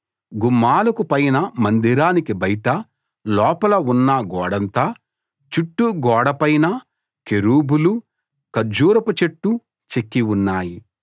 గుమ్మాలకు పైన మందిరానికి బయట లోపల ఉన్న గోడంతా చుట్టూ గోడ పైనా కెరూబులు ఖర్జూరపు చెట్టు చెక్కి ఉన్నాయి